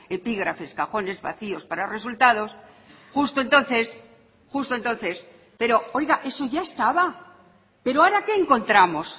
epígrafes cajones vacíos para resultados justo entonces justo entonces pero oiga eso ya estaba pero ahora qué encontramos